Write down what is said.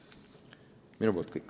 Minu poolt kõik.